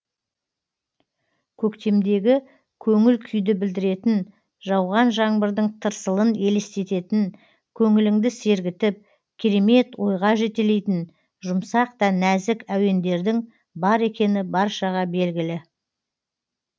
көктемдегі көңіл күйді білдіретін жауған жаңбырдың тырсылын елестететін көңіліңді сергітіп керемет ойға жетелейтін жұмсақ та нәзік әуендердің бар екені баршаға белгілі